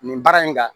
Nin baara in kan